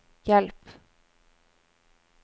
hjelp